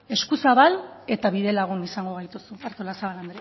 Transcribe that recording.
eskuzabal eta bidelagun izango gaituzu artolazabal